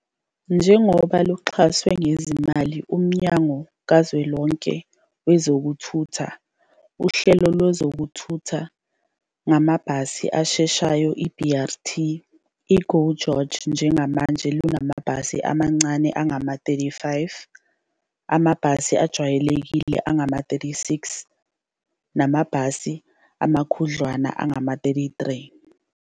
Njengoba luxhaswe ngezimali nguMnyango kaZwelonke WezokuThutha, uhlelo lwezokuthutha ngamabhasi asheshayo, i-BRT, i-GO GEORGE njengamanje lunamabhasi amancane angama-35, amabhasi ajwayelekile angama-36 namabhasi amakhudlwana angama-33.